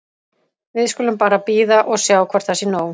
Við skulum bara bíða og sjá hvort það sé nóg.